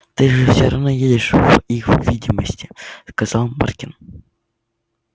ты же все равно едешь в их видемстве сказал маркин